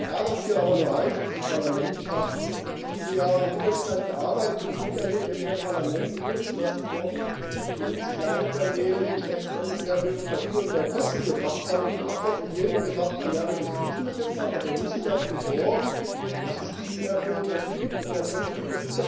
Mich ärgert hier in diesem Parlament aber eines Ich habe viele Jahre im Mittelstand gearbeitet und es miterlebt, wenn hier im Parlament Dinge beschlossen wurden, die uns kleinen Unternehmen letztlich mehr Bürokratie und mehr Kosten gebracht haben, und die Abgeordneten hier immer gesagt haben Ja, wir beschließen das jetzt mal, aber wir müssen dafür sorgen, dass es nicht mehr Bürokratie und mehr Kosten gibt.